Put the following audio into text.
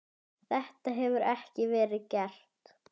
Þetta hefur ekki verið gert.